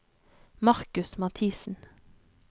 Markus Mathiesen